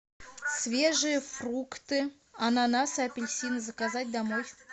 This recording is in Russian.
свежие фрукты ананасы апельсины заказать домой